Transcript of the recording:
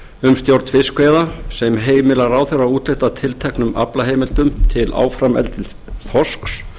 um stjórn fiskveiða sem heimilar ráðherra að úthluta tilteknum aflaheimildum til áframeldis þorsks